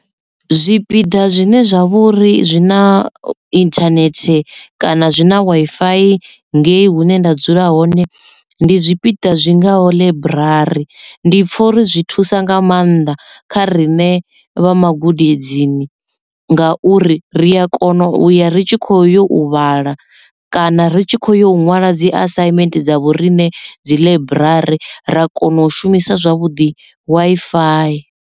Zwipiḓa zwine zwa vhori zwina internet kana zwi na Wi-Fi ngei hune nda dzula hone ndi zwipiḓa zwingaho ḽaiburari ndi pfha uri zwi thusa nga maanḓa kha riṋe vha magudedzini ngauri ri a kona uya ritshi kho yo u vhala kana ri tshi khou yo nwala dzi assignment dza vhoriṋe dzi ḽaiburari ra kona u shumisa zwavhuḓi Wi-Fi.